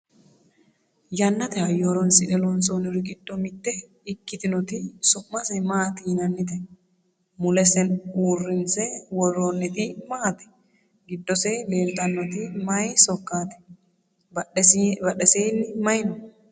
yannate hayyo horonsi'ne loonsoonniri giddo mitte ikkitinoti su'mase maati yinannite? mulese uurrinse worroonniri maati? giddose leeltannoti maye sokkaati? badheseenni maye no?